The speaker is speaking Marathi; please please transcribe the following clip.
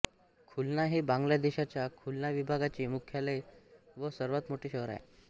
खुलना हे बांगलादेशाच्या खुलना विभागाचे मुख्यालय व सर्वात मोठे शहर आहे